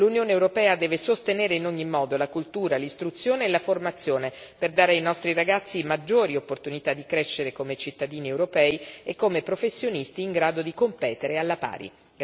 L'Unione europea deve sostenere in ogni modo la cultura, l'istruzione e la formazione per dare ai nostri ragazzi maggiori opportunità di crescere come cittadini europei e come professionisti in grado di competere alla pari.